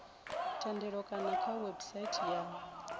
thendelo kana kha website ya